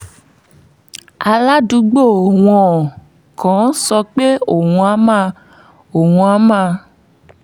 aládùúgbò wọn kan sọ pé òun á máa òun á máa